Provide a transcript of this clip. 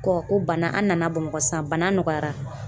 ko bana an nana Bamakɔ sisan bana nɔgɔyara